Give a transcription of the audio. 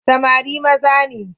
Samari maza ne.